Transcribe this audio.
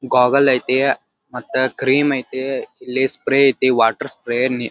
gargle ಐತಿ cream ಐತಿ ಇಲ್ಲಿ ಸ್ಪ್ರೇ ಐತಿ ವಾಟರ್ ಸ್ಪ್ರೇ ನೀ--